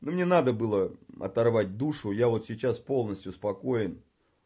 мне надо было оторвать душу я вот сейчас полностью спокоен